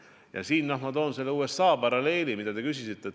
Ja siin ma toongi USA paralleeli, mille kohta te küsisite.